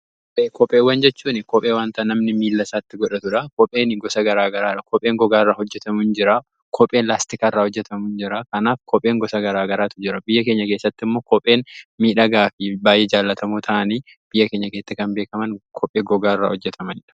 Kopheewwan jechuun kophee wanta namni miilasaatti godhatudha. Kopheen gosa garaa garaadha. kopheen gogaa irraa hojjetamu akkasumas kopheen pilaastika iraa hojjatamus jira. Kanaaf kopheen gosa garaa garaatu jira. Biyya keenya keessatti immoo kopheen miidhagaa fi baay'ee jaalatamoo ta'anii biyya keenya keessatti kan beekaman kophee gogaa irraa hojjetamu.